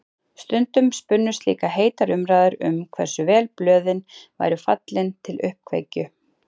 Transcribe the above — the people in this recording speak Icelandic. Stundum spunnust líka heitar umræður um hversu vel blöðin væru fallin til uppkveikju.